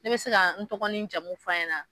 Ne bɛ se ka n tɔgɔ ni n jamu f'a ɲɛ na ?